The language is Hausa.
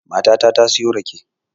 Matata ta siyo rake